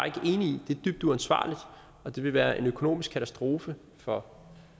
i det er dybt uansvarligt og det ville være en økonomisk katastrofe for